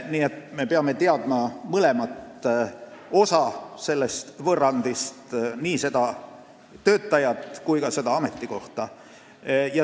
Nii et me peame teadma mõlemat osa sellest võrrandist, nii töötajat kui ka ametikohta.